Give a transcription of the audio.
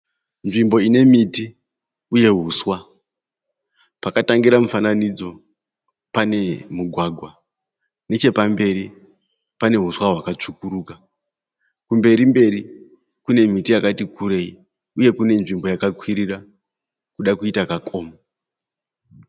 Nzvimbo ine miti uye huswa. Pakatangira mufananidzo pane mugwagwa nechepamberi pane huswa hwakatsvukuruka, kumberi mberi kune miti yakati kurei uye kune nzvimbo yakakwirira kuda kuita kakomo.